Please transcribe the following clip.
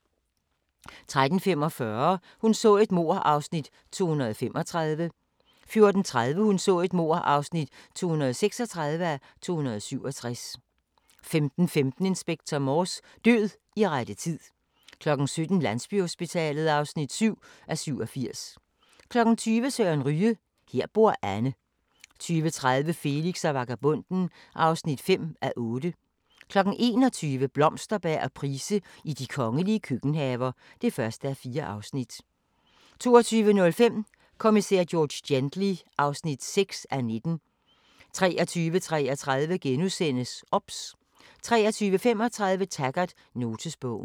13:45: Hun så et mord (235:267) 14:30: Hun så et mord (236:267) 15:15: Inspector Morse: Død i rette tid 17:00: Landsbyhospitalet (7:87) 20:00: Søren Ryge: Her bor Anne 20:30: Felix og vagabonden (5:8) 21:00: Blomsterberg og Price i de kongelige køkkenhaver (1:4) 22:05: Kommissær George Gently (6:19) 23:33: OBS * 23:35: Taggart: Notesbogen